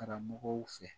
Karamɔgɔw fɛ